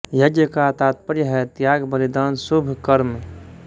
यज्ञ का तात्पर्य है त्याग बलिदान शुभ कर्म